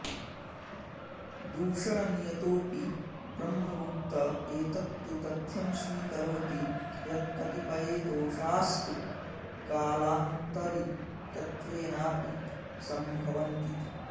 दूषणनियतोऽपि ब्रह्मगुप्त एतत्तु तथ्यं स्वीकरोति यत्कतिपये दोषास्तु कालान्तरितत्वेनापि सम्भवन्तीति